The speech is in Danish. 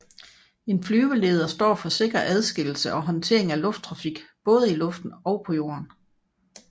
En flyveleder står for sikker adskillelse og håndtering af lufttrafik både i luften og på jorden